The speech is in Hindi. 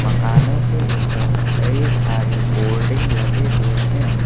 दुकानों के ऊपर कई सारे बोर्डिंग लगे हुए हैं।